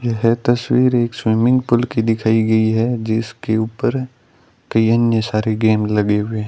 यह तस्वीर एक स्विमिंग पूल की दिखाई गई है जिसके ऊपर की अन्य सारे गेम लगे हुए --